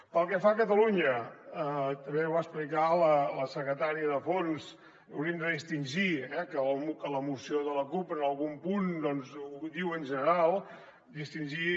pel que fa a catalunya també ho va explicar la secretària dels fons hauríem de distingir eh que la moció de la cup en algun punt doncs ho diu en general distingir